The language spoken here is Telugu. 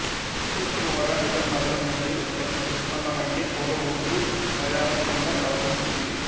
ఉర్ట్ మోరాన్ ఇతర నదుల నుండి ఉత్పన్నమయ్యే పూర్వ ఒండ్రు మైదానం గుండా ప్రవహిస్తుంది